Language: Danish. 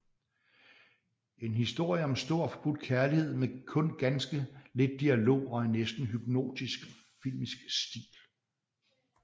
En historie om stor og forbudt kærlighed med kun ganske lidt dialog og en næsten hypnotisk filmisk stil